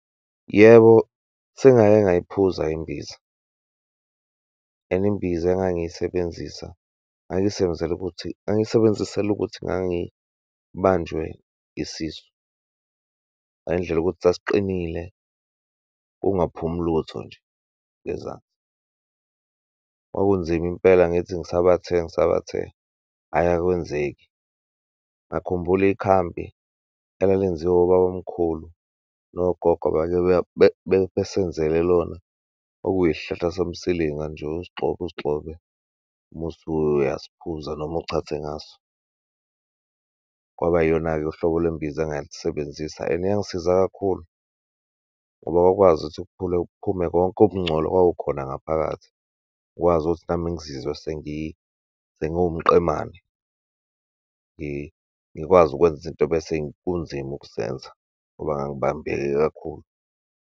Yebo, sengake ngayiphuza imbiza and imbiza engangiyisebenzisa, ngangisebenzela ukuthi, ngingayisebenzisela ukuthi, ngangibanjwe isisu. Ngale ndlela yokuthi sasiqinile, kungaphumi lutho nje ngezansi. Kwakunzima impela, ngithi ngisabathe, ngisabathe, ayi akwenzeki. Ngakhumbula ikhambi elalenziwa obabamkhulu nogogo, besenzele lona, okuyisihlahla somsilinga nje, usigxobe, usigxobe musuyasiphuza noma uchathe ngaso. Kwaba iyona-ke uhlobo lwembiza ongalisebenzisa and yangisiza kakhulu ngoba kwakwazi ukuthi kuphule, kuphume konke ukungcola okwakukhona ngaphakathi, ngikwazi ukuthi nami ngizizwe sengiwumqemane, ngikwazi ukwenza izinto bese kunzima ukuzenza ngoba ngangibambeke kakhulu.